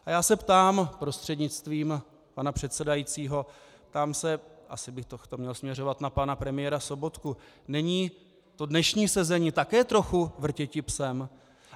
A já se ptám prostřednictvím pana předsedajícího, ptám se, asi bych to měl směřovat na pana premiéra Sobotku: není to dnešní sezení také trochu vrtěti psem?